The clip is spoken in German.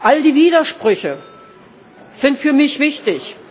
All die Widersprüche sind für mich wichtig.